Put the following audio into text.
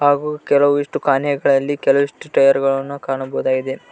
ಹಾಗು ಕೆಲವಿಷ್ಟು ಕಾನೆಗಳಲ್ಲಿ ಕೆಲವಿಷ್ಟು ಟೈಯರ್ ಗಳನ್ನು ಕಾಣಬಹುದಾಗಿದೆ.